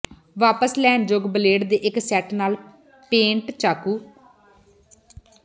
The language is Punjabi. ਵਾਪਸ ਲੈਣ ਯੋਗ ਬਲੇਡ ਦੇ ਇੱਕ ਸੈੱਟ ਨਾਲ ਪੇਂਟ ਚਾਕੂ